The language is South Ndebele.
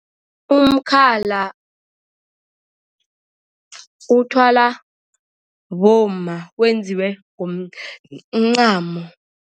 Umkhala uthwala bomma wenziwe ngomncamo.